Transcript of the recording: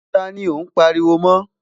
tá ní o n pariwo mọ?